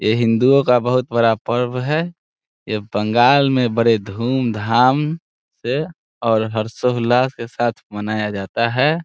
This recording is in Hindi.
यह हिंदुओ का बहुत बड़ा पर्व है यह बंगाल में बड़े धूम-धाम से और हर्षो उल्लास के साथ मनाया जाता है।